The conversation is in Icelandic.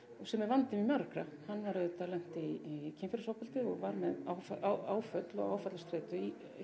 sem er vandi margra hann auðvitað lenti í kynferðisofbeldi og var með áföll og áfallastreitu